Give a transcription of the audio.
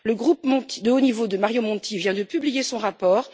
Le groupe de haut niveau de Mario Monti vient de publier son rapport.